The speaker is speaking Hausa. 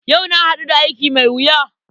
Yau na haɗu da aiki mai wuya.